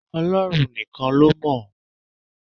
Ọlọ́run nìkan ló mọ̀.